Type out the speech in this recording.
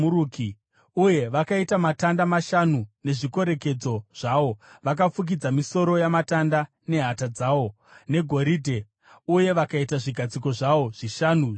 uye vakaita matanda mashanu nezvikorekedzo zvawo. Vakafukidza misoro yamatanda nehata dzawo negoridhe uye vakaita zvigadziko zvawo zvishanu zvendarira.